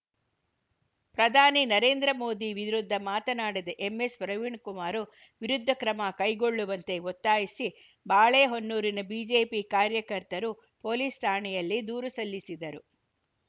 ಪ್ರಧಾನಿ ನರೇಂದ್ರ ಮೋದಿ ವಿರುದ್ಧ ಮಾತನಾಡಿದೆ ಎಂಎಸ್‌ ಪ್ರವೀಣ್‌ಕುಮಾರ್‌ ವಿರುದ್ಧ ಕ್ರಮ ಕೈಗೊಳ್ಳುವಂತೆ ಒತ್ತಾಯಿಸಿ ಬಾಳೆಹೊನ್ನೂರಿನ ಬಿಜೆಪಿ ಕಾರ್ಯಕರ್ತರು ಪೊಲೀಸ್‌ ಠಾಣೆಯಲ್ಲಿ ದೂರು ಸಲ್ಲಿಸಿದರು